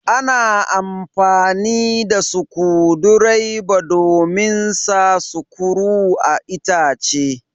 Ana amfani da sukudireba domin sa sukuru a'itace.